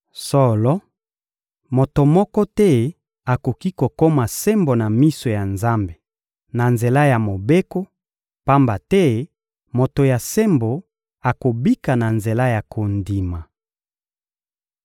Solo, moto moko te akoki kokoma sembo na miso ya Nzambe na nzela ya Mobeko, pamba te moto ya sembo akobika na nzela ya kondima.